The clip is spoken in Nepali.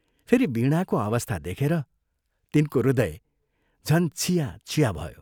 फेरि वीणाको अवस्था देखेर तिनको हृदय झन् छियाछिया भयो।